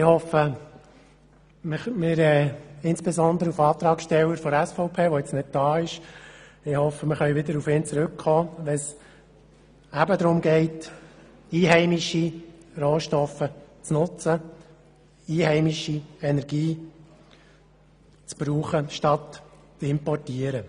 Ich hoffe, dass wir insbesondere auf den Antragsteller der SVP wieder zurückkommen können, wenn es darum geht, einheimische Rohstoffe und einheimische Energie zu nutzen, statt zu importieren.